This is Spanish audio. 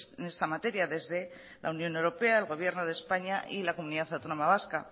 en esta materia desde la unión europea el gobierno de españa y la comunidad autónoma vasca